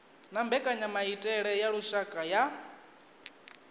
na mbekanyamaitele ya lushaka ya